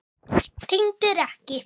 Tengdir ekki.